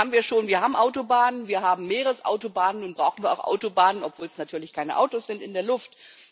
Das haben wir schon Wir haben Autobahnen, wir haben Meeresautobahnen, nun brauchen wir auch Autobahnen obwohl es natürlich keine Autos sind in der Luft.